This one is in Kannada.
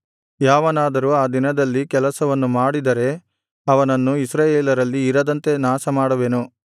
ಯಾವನಾದರೂ ಆ ದಿನದಲ್ಲಿ ಕೆಲಸವನ್ನು ಮಾಡಿದರೆ ಅವನನ್ನು ಇಸ್ರಾಯೇಲರಲ್ಲಿ ಇರದಂತೆ ನಾಶಮಾಡುವೆನು